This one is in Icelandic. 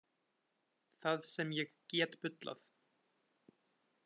Það sem ég get bullað.